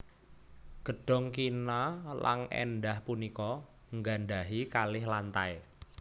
Gedhong kina lan èndah punika nggadhahi kalih lantai